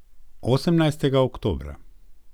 Osemnajstega oktobra.